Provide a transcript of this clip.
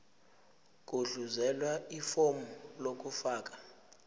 gudluzela ifomu lokufaka